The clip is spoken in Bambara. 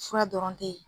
Fura dɔrɔn te yen